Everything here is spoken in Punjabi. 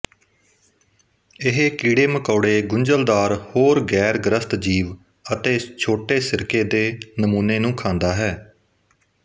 ਇਹ ਕੀੜੇਮਕੌੜੇ ਗੁੰਝਲਦਾਰ ਹੋਰ ਗੈਰਗ੍ਰਸਤ ਜੀਵ ਅਤੇ ਛੋਟੇ ਸਿਰਕੇ ਦੇ ਨਮੂਨੇ ਨੂੰ ਖਾਂਦਾ ਹੈ